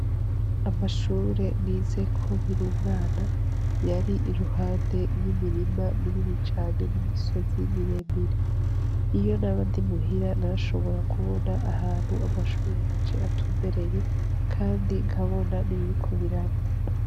Amashure nizeko nkiri umwana yari iruhande y'imirima minini cane n'imisozi miremire, iyo naba ndi muhira narashobora kubona ahantu amashure yanje atumbereye kandi nkabona n'ibiriko biraba.